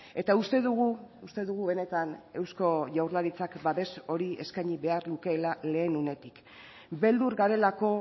eta uste dugu uste dugu benetan eusko jaurlaritzak babes hori eskaini behar lukeela lehen unetik beldur garelako